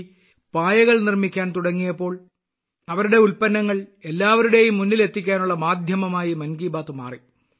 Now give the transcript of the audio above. സന്തോഷ് പായകൾ നിർമ്മിക്കാൻ തുടങ്ങിയപ്പോൾ അവരുടെ ഉൽപ്പന്നങ്ങൾ എല്ലാവരുടെയും മുന്നിൽ എത്തിക്കാനുള്ള മാധ്യമമായി മൻ കി ബാത്ത് മാറി